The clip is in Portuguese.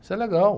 Isso é legal.